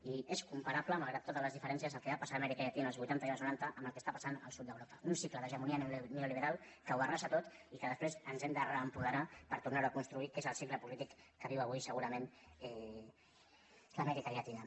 i és comparable malgrat totes les diferències el que va passar a amèrica llatina els vuitanta i els noranta amb el que està passant al sud d’europa un cicle d’hegemonia neoliberal que ho arrasa tot i que després ens hem de reapoderar per tornar ho a construir que és el cicle polític que viu avui segurament l’amèrica llatina